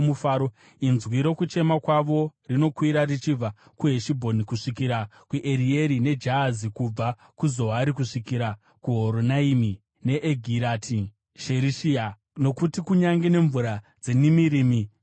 “Inzwi rokuchema kwavo rinokwira richibva kuHeshibhoni kusvikira kuErieri neJahazi, kubva kuZoari kusvikira kuHoronaimi neEgirati Sherishiya, nokuti kunyange nemvura dzeNimirimi dzapwa.